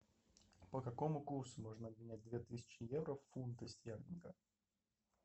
по какому курсу можно обменять две тысячи евро в фунты стерлингов